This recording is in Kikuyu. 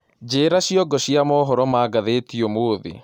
Njĩĩra cĩongo cĩa mohoro ma gathetĩ ũmũthĩ